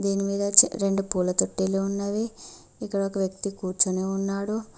దీని మీద రెండు పూల తొట్టిలు ఉన్నాయి ఇక్కడ ఒక వ్యక్తి కూర్చుని ఉన్నాడు.